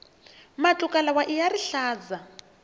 matluka lawaiya rihlaza